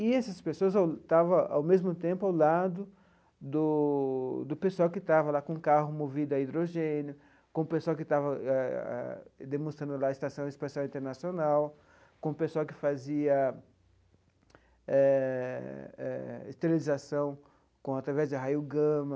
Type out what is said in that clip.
E essas pessoas estava ao mesmo tempo ao lado do do pessoal que estava lá com o carro movido a hidrogênio, com o pessoal que estava ah demonstrando lá a Estação Espacial Internacional, com o pessoal que fazia eh eh esterilização com através de raio gama.